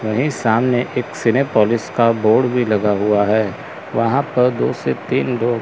वहीं सामने एक सिनेपोलिस का बोर्ड भी लगा हुआ है वहां पर दो से तीन लोग--